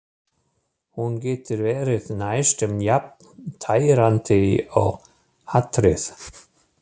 Hún getur verið næstum jafn tærandi og hatrið.